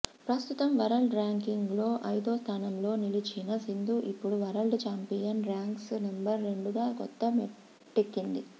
ప్రస్తుతం వరల్డ్ ర్యాంకింగ్లో ఐదో స్థానంలో నిలిచిన సింధు ఇప్పుడు వరల్డ్ ఛాంపియన్ ర్యాంక్స్ నెంబర్ రెండుగా కొత్త మెట్టెక్కింది